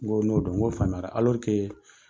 N ko n'o dɔn, n ko faamuya la